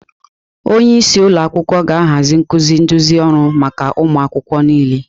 Onye isi ụlọ akwụkwọ ga-ahazi nkuzi nduzi ọrụ maka ụmụ akwụkwọ niile.